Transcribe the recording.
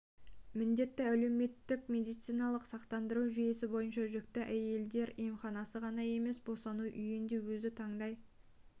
міндетті әлеуметтік медициналық сақтандыру жүйесі бойынша жүкті әйелдер емхананы ғана емес босану үйін де өзі таңдай